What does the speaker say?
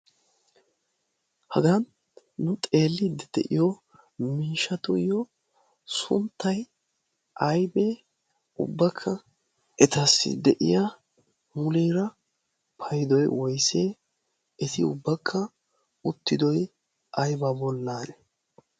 hagan nu xeelli de'iyo miishatuyyo sunttai aibee ubbakka etassi de'iya huliira paidoi woissee eti ubbakka uttidoy ayba bollaane?